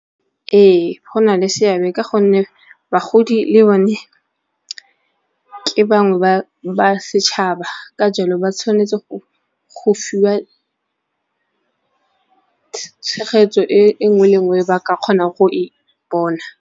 Ee go na le seabe ka gonne bagodi le bone ke bangwe ba setšhaba ka jalo ba tshwanetse go fiwa tshegetso e nngwe le nngwe ba ka kgonang go e bona.